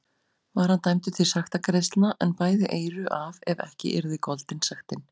Var hann dæmdur til sektargreiðslna, en bæði eyru af ef ekki yrði goldin sektin.